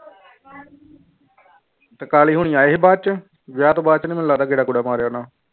ਕਾਲੇ ਹੋਣੀ ਆਏ ਸੀ ਬਾਅਦ ਚ, ਵਿਆਹ ਤੋਂ ਬਾਅਦ ਚ ਨੀ ਮੈਨੂੰ ਲੱਗਦਾ ਗੇੜਾ ਗੂੜਾ ਮਾਰਿਆ ਹੋਣਾ।